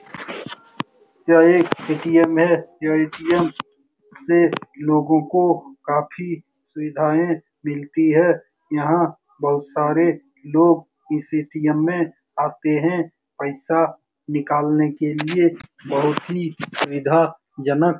यह एक ए.टी.एम. है यह ए.टी.एम. से लोगों को काफी सुविधाएं मिलती है यहाँ बहुत सारे लोग इस ए.टी.एम. में आते हैं पैसा निकालने के लिए बहुत ही सुविधाजनक --